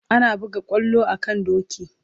Ana buga kwallo a kan doki